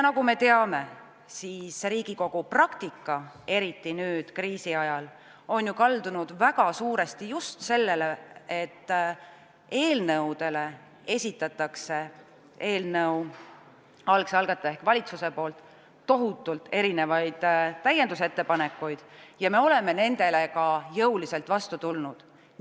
Nagu me teame, Riigikogu praktika, eriti nüüd, kriisiajal, on ju kaldunud väga suuresti just selle poole, et eelnõude kohta esitab eelnõu algne algataja ehk valitsus tohutult erinevaid täiendusettepanekuid, ja me oleme nendele ka jõuliselt vastu tulnud.